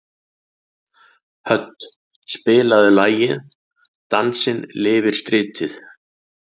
Hödd, spilaðu lagið „Dansinn lifir stritið“.